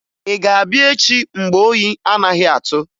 Ị ga-abịa echi mgbe oyi anaghị atụ?